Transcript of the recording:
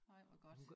Ej hvor godt